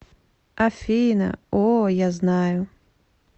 афина о я знаю